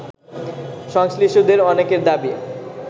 সংশ্লিষ্টদের অনেকের দাবি